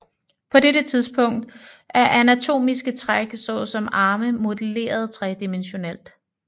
På dette tidspunkt er anatomiske træk såsom arme modelleret tredimensionelt